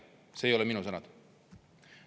Need ei ole minu sõnad.